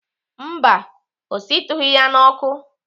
Mba, ọ shitughị ya n'ọkụ.